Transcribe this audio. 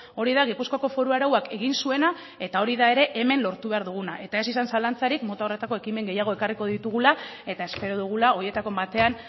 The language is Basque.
hori da gipuzkoako foru arauak egin zuena eta hori da ere hemen lortu behar duguna eta ez izan zalantzarik mota honetako ekimen gehiago ekarriko ditugula eta espero dugula horietako batean